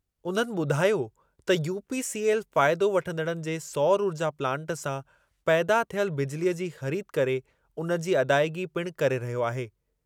उन्हनि ॿुधायो त यूपीसीएल फ़ाइदो वठंदड़नि जे सौर ऊर्जा प्लांट सां पैदा थियलु बिजिलीअ जी ख़रीद करे उन जी अदाइगी पिणु करे रहियो आहे।